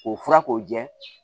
O fura k'o jɛ